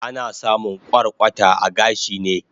Ana samun kwarkwata a gashi ne